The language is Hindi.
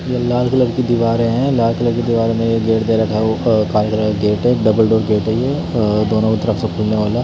ये लाल कलर की दीवारे हैं लाल कलर की दीवारों में ये एक गेट दे रखा है अ वो काले कलर का गेट हैं डबल डोर गेट है ये अ दोनों तरफ से खुलने वाला --